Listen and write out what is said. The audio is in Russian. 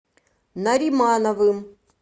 наримановым